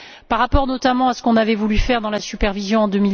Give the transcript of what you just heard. par rapport, notamment, à ce qu'on avait voulu faire dans la supervision en